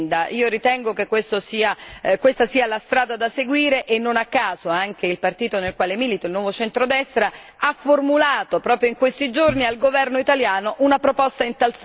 Io ritengo che questa sia la strada da seguire e non a caso anche il partito nel quale milito, il Nuovo centrodestra, ha formulato proprio in questi giorni al governo italiano una proposta in tal senso.